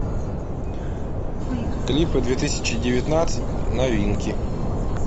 клипы две тысячи девятнадцать новинки